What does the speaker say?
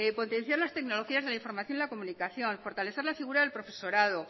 potenciar las tecnologías de la información y la comunicación fortalecer la figura del profesorado